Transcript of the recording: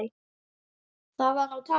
Það var á tali.